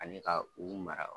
Ani ka u mara.